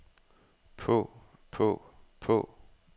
på på på